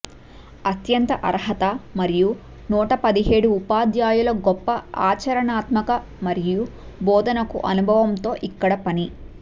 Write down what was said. అత్యంత అర్హత మరియు నూట పదిహేడు ఉపాధ్యాయులు గొప్ప ఆచరణాత్మక మరియు బోధనకు అనుభవం తో ఇక్కడ పని